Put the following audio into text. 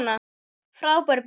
Frábær byrjun.